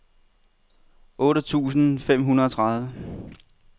otte tusind og femogtredive